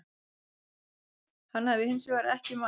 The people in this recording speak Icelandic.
Hann hafi hins vegar ekki mætt